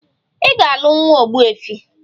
Ị ga-alụ nwa ogbuefi!